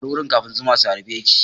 Bar wurin kafin zuma su harbe ki!